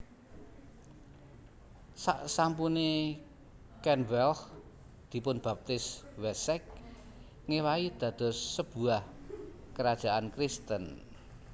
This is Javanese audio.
Saksampune Cenwealh dipunbaptis Wessex ngèwahi dados sebuah kerajaan Kristen